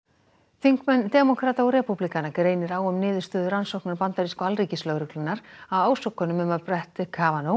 þingmenn demókrata og repúblikana greinir á um niðurstöðu rannsóknar bandarísku alríkislögreglunnar á ásökunum um að brett